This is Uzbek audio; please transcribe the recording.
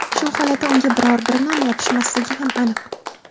Shu holatda unga biror bir nom yopishmasligi ham aniq.